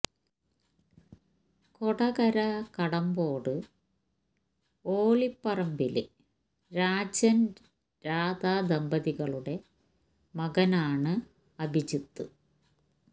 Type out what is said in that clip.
കൊടകര കടമ്പോട് ഓളി പറമ്പില് രാജന് രാധ ദമ്പതികളുടെ മകനാണ് അഭിജിത്ത്